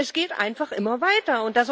Es geht einfach immer weiter.